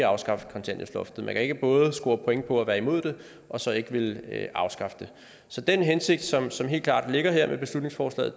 afskaffe kontanthjælpsloftet man kan ikke både score point på at være imod det og så ikke ville afskaffe det så den hensigt som som helt klart ligger her med beslutningsforslaget